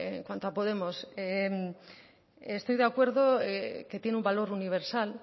en cuanto a podemos estoy de acuerdo que tiene una valor universal